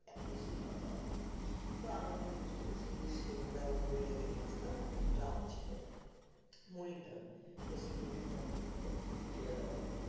একটা সিঙ্গারা দাও তো তো আমাদের hostel এ সেই সিঙ্গারা আর মুড়িটাকে নিয়ে আসতাম, একটা ড্রাম ছিল মুড়ির ড্রাম তো সেই মুড়ির ড্রামের মধ্যে ঢেলে দেওয়া হয়ে যেত